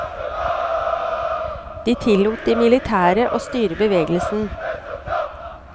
De tillot de militære å styre bevegelsen.